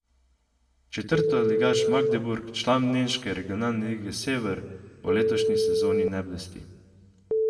Četrtoligaš Magdeburg, član nemške regionalne lige Sever, v letošnji sezoni ne blesti.